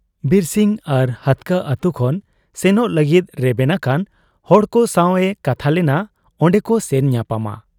ᱵᱤᱨᱥᱤᱝ ᱟᱨ ᱦᱟᱹᱛᱠᱟᱹ ᱟᱹᱛᱩ ᱠᱷᱚᱱ ᱥᱮᱱᱚᱜ ᱞᱟᱹᱜᱤᱫ ᱨᱮᱵᱮᱱ ᱟᱠᱟᱱ ᱦᱚᱲᱠᱚ ᱥᱟᱶ ᱮ ᱠᱟᱛᱷᱟ ᱞᱮᱱᱟ ᱚᱱᱰᱮᱠᱚ ᱥᱮᱱ ᱧᱟᱯᱟᱢᱟ ᱾